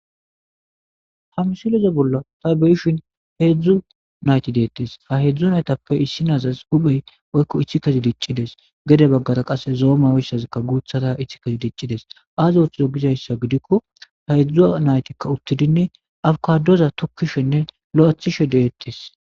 hamsileze bolla ta beyishin heedzdzu nayti deettes ha heedzdzu naytappe issi nazas huphey oykko ichi kezi diccides gede baggata qasse zooma oyssazikka guuthata ichi kezi diccides az oththizo gizayssa gidikko ta heeedzdzu naytikka uttidinne afkadoza tukkishenne lo7ethishe deettes